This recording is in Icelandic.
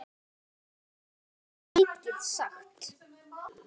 Ég get ekki mikið sagt.